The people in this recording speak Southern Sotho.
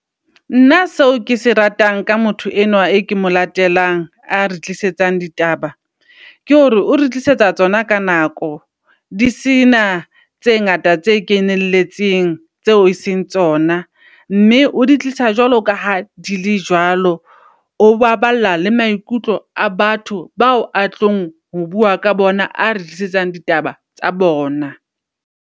Nna seo kese ratang ka motho enwa e ke mo latelang are tlisetsang ditaba, ke hore o re tlisetsa tsona ka nako. Di sena tse ngata tse keneletseng, tseo e seng tsona. Mme o di tlisa jwalo ka ha di le jwalo. O baballa le maikutlo a batho bao a tlong ho bua ka bona a re tlisetsang ditaba tsa bona.